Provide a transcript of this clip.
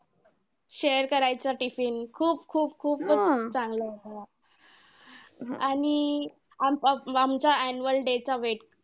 Share करायचा tiffin खूप खूप खूप खूपच चांगला होता. आणि आ आमचा annual day चा wait.